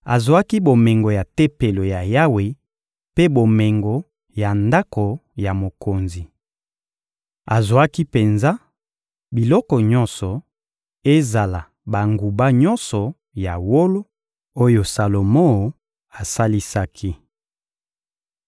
Azwaki bomengo ya Tempelo ya Yawe mpe bomengo ya ndako ya mokonzi. Azwaki penza biloko nyonso, ezala banguba nyonso ya wolo oyo Salomo asalisaki.